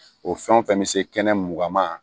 O fɛn o fɛn bɛ se kɛnɛ mugan ma